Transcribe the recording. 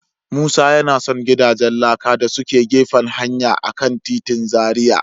Musa yana son gidajen laka da suke gefen hanya a kan titin Zaria.